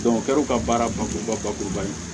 ka baara bakuruba bakuruba ye